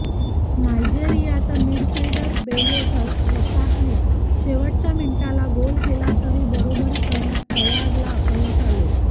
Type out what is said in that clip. नायजेरियाचा midfielder बेलो रसाकने शेवटच्या मिनिटाला गोल केला तरी बरोबरी करण्यात प्रयागला अपयश आले